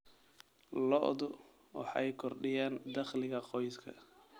Lo'du waxay kordhiyaan dakhliga qoyska.